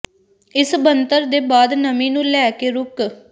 ਇਸ ਬਣਤਰ ਦੇ ਬਾਅਦ ਨਮੀ ਨੂੰ ਲੈ ਕੇ ਰੁਕ